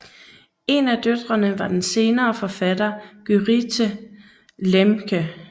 En af døtrene var den senere forfatter Gyrithe Lemche